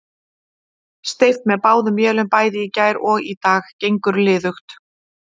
Steypt með báðum vélum bæði í gær og í dag, gengur liðugt.